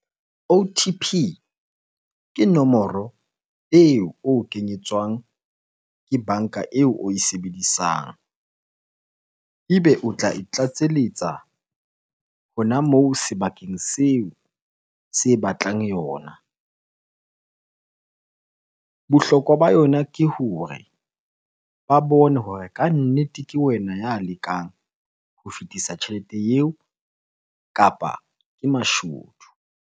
O_T_P ke nomoro eo, o kenyetswang ke banka eo, oe sebedisang. Ebe o tla e tlatseletsa hona moo sebakeng seo se batlang yona. Bohlokwa ba yona ke hore ba bone hore kannete ke wena ya lekang ho fetisa tjhelete eo kapa ke mashodu.